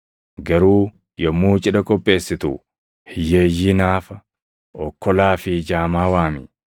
Garuu yommuu cidha qopheessitu hiyyeeyyii, naafa, okkolaa fi jaamaa waami.